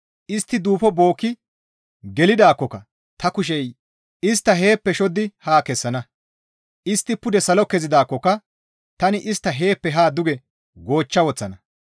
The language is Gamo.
Istti duufo bookki gelidaakkoka ta kushey istta heeppe shoddi haa kessana; istti pude salo kezidaakkoka tani istta heeppe haa duge goochcha woththana.